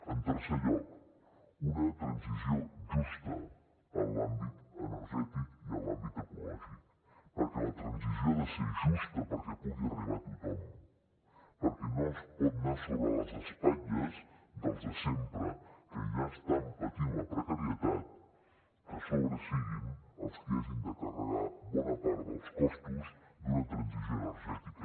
en tercer lloc una transició justa en l’àmbit energètic i en l’àmbit ecològic perquè la transició ha de ser justa perquè pugui arribar a tothom perquè no pot anar sobre les espatlles dels de sempre que ja estan patint la precarietat que a sobre siguin els qui hagin de carregar bona part dels costos d’una transició energètica